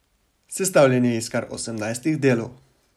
Sestavljen je iz kar osemnajstih delov.